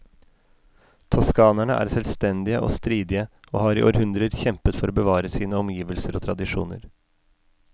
Toskanerne er selvstendige og stridige, og har i århundrer kjempet for å bevare sine omgivelser og tradisjoner.